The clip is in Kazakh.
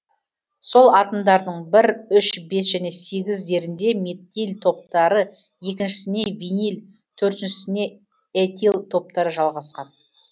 сол атомдардың бір үш бес және сегіздерінде метил топтары екіншісіне винил төртіншісіне этил топтары жалғасқан